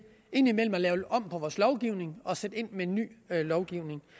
indimellem at lave om på vores lovgivning og sætte ind med en ny lovgivning